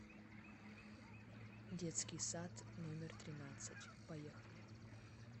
детский сад номер тринадцать поехали